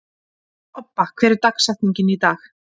Obba, hver er dagsetningin í dag?